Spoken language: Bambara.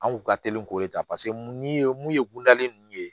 An kun ka teli k'o de ta paseke mun ye mun ye kundalen ninnu ye